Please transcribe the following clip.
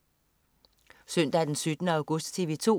Søndag den 17. august - TV 2: